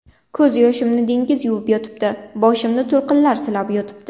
Ko‘z yoshimni dengiz yuvib yotibdi, Boshimni to‘lqinlar silab yotibdi.